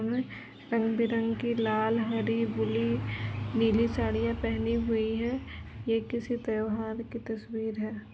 रंग बिरंगी लाल हरी बुली नीली साड़ियां पहनी हुई है ये किसी त्योहार की तस्वीर है।